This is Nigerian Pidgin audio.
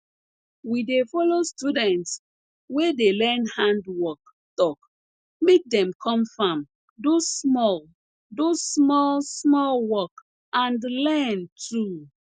we dey follow students wey dey learn handwork talk make dem come farm do small do small small work and learn too